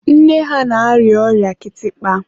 nne ha na-arịa ọrịa kịtịkpa.